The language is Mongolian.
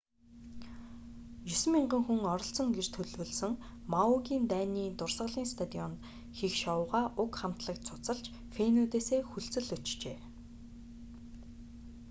9,000 хүн оролцоно гэж төлөвлөсөн мауигийн дайны дурсгалын стадионд хийх шоугаа уг хамтлаг цуцалж фенүүдээсээ хүлцэл өчжээ